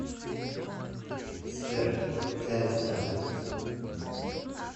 сбер гэнгста